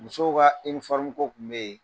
Musow ka ko kun be ye.